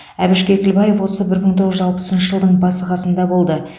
әбіш кекілбаев осы бір мың тоғыз жүз алпысыншы жылдың басы қасында болды